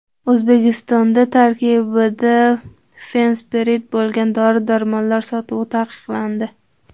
O‘zbekistonda tarkibida fenspirid bo‘lgan dori-darmonlar sotuvi taqiqlandi.